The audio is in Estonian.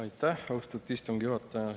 Aitäh, austatud istungi juhataja!